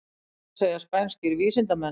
Þetta segja spænskir vísindamenn